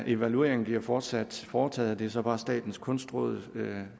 evaluering bliver fortsat foretaget det er så bare statens kunstråd